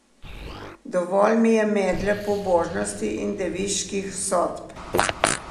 Dovolj mi je medle pobožnosti in deviških sodb.